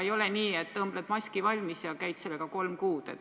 Ei ole nii, et õmbled maski valmis ja käid sellega kolm kuud.